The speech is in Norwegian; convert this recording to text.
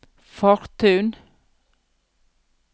Fortun